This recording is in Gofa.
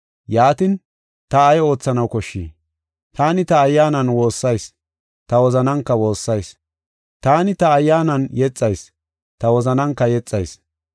Yaatin, ta ay oothanaw koshshii? Taani ta ayyaanan woossayis; ta wozananka woossayis. Taani ta ayyaanan yexayis; ta wozananka yexayis.